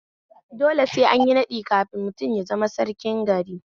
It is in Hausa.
Dole sai anyi naɗi kafin mutum ya zama sarkin gari